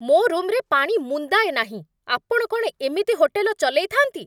ମୋ ରୁମ୍‌ରେ ପାଣି ମୁନ୍ଦାଏ ନାହିଁ! ଆପଣ କ'ଣ ଏମିତି ହୋଟେଲ ଚଲେଇଥାନ୍ତି?